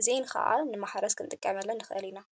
እዚአን ከዓ ንማሕረስ ክንጥቀመለን ንክእል ኢና፡፡